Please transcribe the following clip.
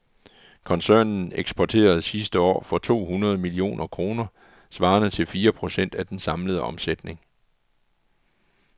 Koncernen eksporterede sidste år for to hundrede millioner kroner, svarende til fire procent af den samlede omsætning.